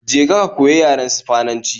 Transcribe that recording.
Je ka ka koyi yaren Sifananci